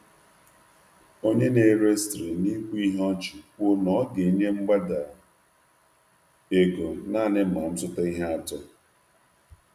Onye na-ere siri n’ikwu ihe ọchị kwuo na ọ ga-enye mgbada ego naanị ma m zụta ihe atọ.